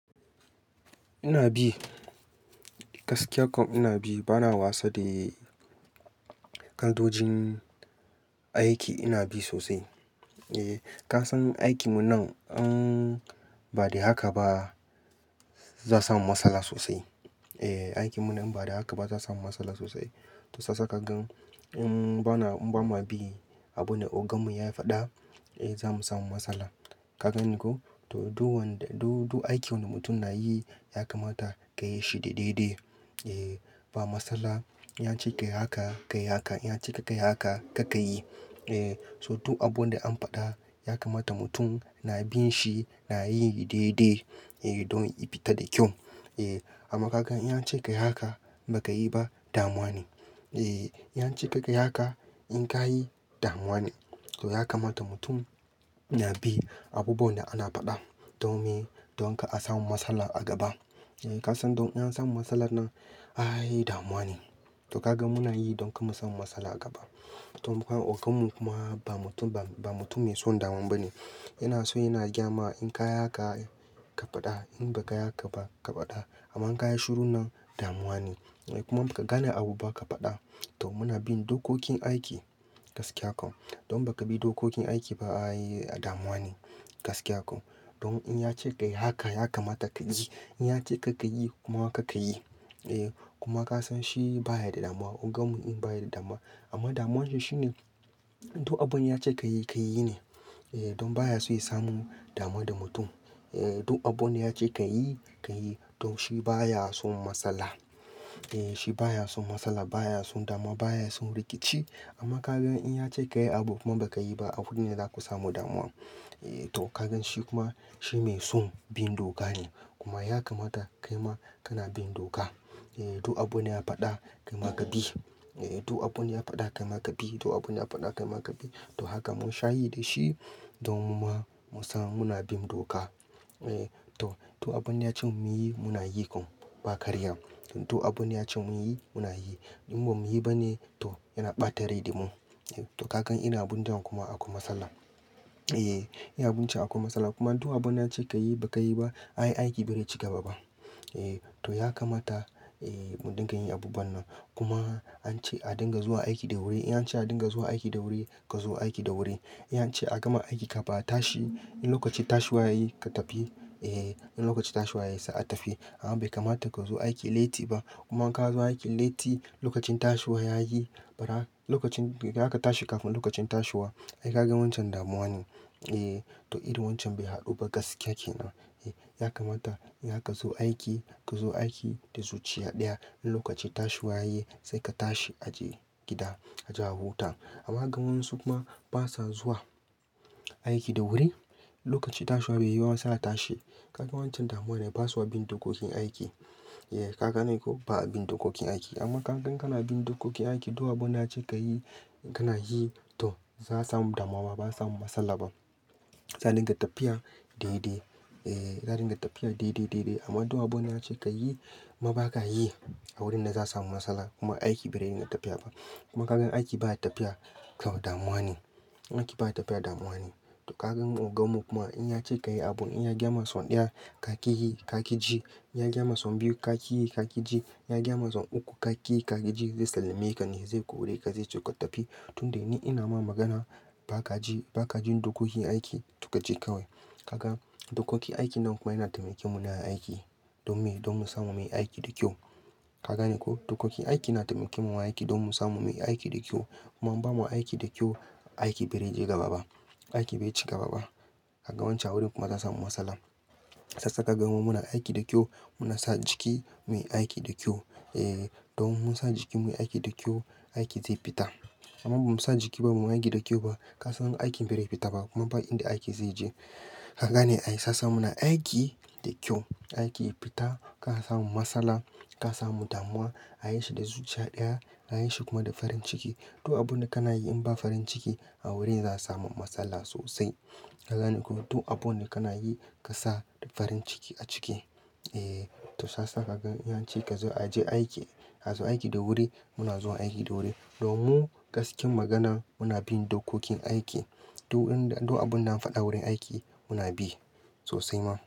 Ina bi, gaskiya kuwa ina bi. Bana wasa da kaidojin aiki. Ina bi sosai. Eh, ka san aikinmu nan, in ba da haka ba za a samu matsala sosai. Eh, aikinmu nan in ba dan haka ba za, a samu matsala sosai. To shiyasa ka gan in ba ma bi abun da oganmu ya faɗa, eh za mu samu matsala. Ka gane ko? To, duk wanda-- duk, duk aikin da mutum na yi ya kamata ka yi shi da daidai. Eh, ba matsala. In ya ce ka yi haka, ka yi haka. In ya ce kar ka yi haka, kar ka yi. Eh, so duk abunda an faɗa ya kamata mutum na binshi na yinshi daidai eh don ya fita da kyau. Eh, amma ka gan in an ya ce ka yi haka ba ka yi ba, damuwa ne. Eh, ya ce ka yi haka in ka yi, damuwa ne. To ya kama ta mutum na bin abubuwan da aka faɗa domin kar asamu matsala a gaba. Eh, ka san don in an samu matsalan nan, ai damuwa ne. To ka gan muna yi don kar mu samu matsala a gaba. To, mu kuma oganmu kuma ba mutum, ba mutum mai son damuwa ba ne. Yana so yana gayama in ka yi haka ka faɗa. In ba ka yi haka ba, ka faɗa. Amma in ka yi shiru nan, damuwa ne. Kuma in baka gane abu ba ka faɗa, to muna bin dokokin aiki gaskiya kau don in bakabi dokokin aiki ba ai damuwa ne gaskiya kau don in yace kayi haka ya kamata kayi in ya ce ka ka yi, kuma ka ka yi. Eh kuma kasan shi baya da damuwa oganmu ɗin baya da damuwa amma damuwarsa shine duk abunda ya ce ka yi, ka yi ne. Eh, don baya so ya samu damuwa da mutum. Eh duk abunda yace kayi kayi don shi baya son matsala. Eh, shi baya son matsala, baya son damuwa, baya son rikici. Amma kagan in yace kayi abu kuma ba kayi ba anan ne zaku samu damuwa. Eh, to ka gan shi kuma shi mai son bin doka ne. Kuma ya kamata kaima kana bin doka. Eh, duk abun ya faɗa, kai ma ka bi. Eh, duk abun ya faɗa, kai ma ka bi. Duk abun ya faɗa, kai ma ka bi. To haka mun sha yi da shi don mu ma, mu samu muna bin doka. Eh, to, to abunda ya ce mu yi, muna yi kuma ba ƙarya. Duk, abunda ya ce mu yi, muna yi. In ba mu yi ba ne, to yana ɓata rai da mu. To ka gan irin abun ɗin kuma akwai matsala. Eh, irin abun can akwai matsala. Kuma duk abin an ce ka yi ba ka yi ba, ai aiki ba re ciga ba. Eh, to ya kamata, eh mu dinga yin abubuwan nan. Kuma an ce a dinga zuwa aiki da wuri. In an ce a dinga zuwa aiki da wuri, ka zo aiki da wuri. In an ce a gama aiki ka fin a tashi, in lokacin tashiwa yayi ka tafi. Eh, in lokacin tashiwa ya yi sai a tafi. Amma bai kamata ka zo aiki leti ba. Kuma in kazo aiki leti lokacin tashiwa yayi lokacin za ka tashi kafin lokacin tashiwa ai ka gan wancan damuwa ne. Eh, to irin wancan bai haɗu ba gaskiya kenan. Eh, ya kamata in zaka zo aiki, ka zo aiki da zuciya ɗaya. In lokacin tashiwa yayi, sai ka tashi a je gida, a je a huta. Amma gan waƴansu kuma basa zuwa aiki da wuri. Lokacin tashiwa bai yi ba ma sai a tashi. Ka gan wancan damuwa ne. Ba sa bin dokokin aiki. Eh ka ga ne koh ba, a bin dokokin aiki amma kagan kana bin dokokin aiki duk abunda an ce kayi kanayi to ba za, a samu damuwa ba za, a samu matsala ba. Sai dinga tafiya daidai. Eh, za, a dinga tafiya daidai, daidai. Amma duk abun an ce ka yi, kuma ba ka yi, a wurin ne za, a samu matsala kuma aiki ba rai dinga tafiya ba. Kuma ka gan aiki baya tafiya, to damuwa ne. Aiki baya tafiya, damuwa ne. To ka gan oganmu kuma in ya ce ka yi abun, in ya gayama son ɗaya ka ƙi yi, ka ƙi ji. Ya gayama son biyu, ka ƙi yi, ka ƙi ji. In ya gayama san uku ka ƙi yi ƙa ki ji zai sallame ka ne ze kore ka ze ce ka tafi tunda ni ina ma magana baka ji baka bin da dokokin aiki to kaje kawai. Ka gan dokokin aiki nan kuma yana taimaken mu na aiki don me, don mu samu muyi aiki da kyau. Ka gane ko? Dokokin aiki na taimaken mu a aiki don mu samu muyi aiki da kyau. Kuma in ba mu aiki da kyau, aiki bai rage gaba ba. Aiki bai cika gaba ba. Ka gan wancan awurin kuma za, a samu matsala. Shiya sa ka gan muna aiki da kyau, muna sa jiki muyi aiki da kyau. Eh, don mun san jikin muyi aiki da kyau, aiki zai fita. Amman ba mu sa jiki ba, ba muyi aiki da kyau ba, ka san aikin bai re fita ba kuma ba inda aiki zai je. Ka gane ai shiya sa muna aiki da kyau, aiki ya fita, ka samu matsala, ka samu damuwa. A yi shi da zuciya ɗaya, a yi shi kuma da farin ciki. Duk abun da kana yi in ba farin ciki a wurin za, a samu matsala sosai. Ka gane ko? Duk abun da kana yi ka sa da farin ciki a ciki. Eh, to shiya sa ka gan in an ce ka zo a je aiki, ka azo aiki da wuri, muna zuwa aiki da wuri. Don mu gaskiyar maganan muna bin dokokin aiki duk inda duk abunda an faɗa wurin aiki muna bi sosai ma.